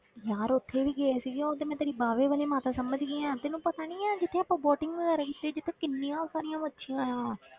ਯਾਰ ਉੱਥੇ ਨੀ ਗਏ ਸੀਗੇ, ਉਹ ਤੇ ਮੈਂ ਤੇਰੀ ਬਾਵੇ ਵਾਲੀ ਮਾਤਾ ਸਮਝ ਗਈ ਹਾਂ, ਤੈਨੂੰ ਪਤਾ ਨੀ ਹੈ ਜਿੱਥੇ ਆਪਾਂ boating ਵਗ਼ੈਰਾ ਕੀਤੀ, ਜਿੱਥੇ ਕਿੰਨੀਆਂ ਸਾਰੀਆਂ ਮੱਛੀਆਂ ਆਂ।